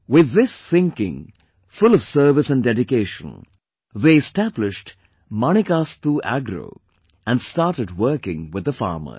With this thinking full of service and dedication, they established Manikastu Agro and started working with the farmers